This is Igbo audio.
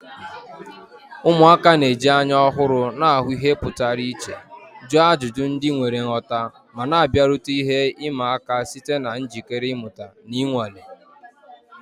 Ụmụaka na-eji anya ọhụrụ na-ahụ ihe pụrụ iche, jụọ ajụjụ ndị nwere nghọta, ma na-abịarute ihe ịma aka site na njikere ịmụta na ịnwale.